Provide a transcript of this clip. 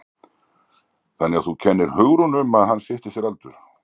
Þannig að þú kennir Hugrúnu um að hann stytti sér aldur?